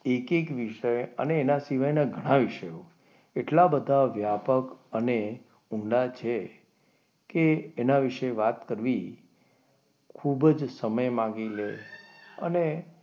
એક એક વિષય અને તેના સિવાયના ઘણા વિષયો એટલા બધા વ્યાપક અને ઊંડા છે કે એના વિશે વાત કરવી ખૂબ જ સમય માંગી લે અને,